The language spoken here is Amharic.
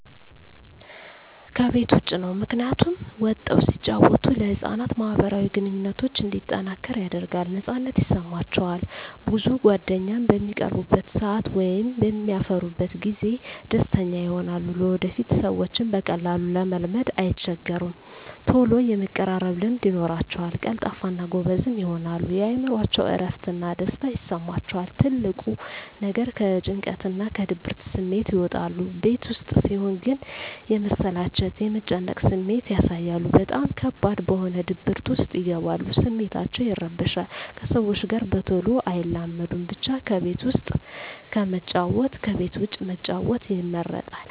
ከቤት ዉጭ ነዉ ምክንያቱም ወጠዉ ሲጫወቱ ለህፃናት ማህበራዊ ግንኙነቶች እንዲጠናከር ያደርጋል ነፃነት ይሰማቸዋል ብዙ ጓደኛም በሚቀርቡበት ሰአት ወይም በሚያፈሩበት ጊዜ ደስተኛ ይሆናሉ ለወደፊቱ ሰዎችን በቀላሉ ለመልመድ አይቸገሩም ተሎ የመቀራረብ ልምድ ይኖራቸዉል ቀልጣፋ እና ጎበዝም ይሆናሉ የእምሮአቸዉ እረፍት እና ደስታ ይሰማቸዋል ትልቁ ነገር ከጭንቀትና ከድብርት ስሜት ይወጣሉ ቤት ዉስጥ ሲሆን ግን የመሰላቸት የመጨነቅ ስሜት ያሳያሉ በጣም ከባድ በሆነ ድብርት ዉስጥ ይገባሉ ስሜታቸዉ ይረበሻል ከሰዎች ጋር በተሎ አይላመዱም ብቻ ከቤት ዉስጥ ከመጫወት ከቤት ዉጭ መጫወት ይመረጣል